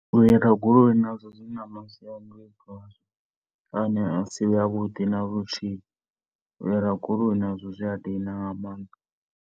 U hira goloi nazwo zwi na masiandaitwa a ne a si avhuḓi luthihi. U hira goloi nazwo zwi a dina nga maanḓa.